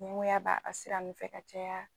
Ɲɛngoya b'a a ka sira nu fɛ ka caya